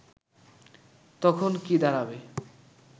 তখন কি দাঁড়াবে